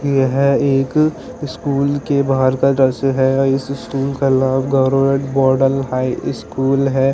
यह एक स्कूल के बाहर का द्रश्य है इस स्कूल का नाम बॉर्डल हैं स्कूल है।